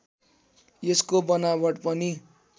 यसको बनावट पनि